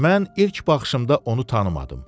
Mən ilk baxışımda onu tanımadım.